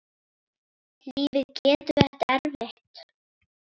Lífið getur verið erfitt.